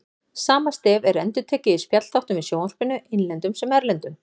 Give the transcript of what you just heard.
Sama stef er endurtekið í spjallþáttum í sjónvarpinu, innlendum sem erlendum.